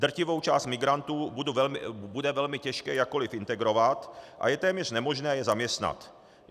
Drtivou část migrantů bude velmi těžké jakkoli integrovat a je téměř nemožné je zaměstnat.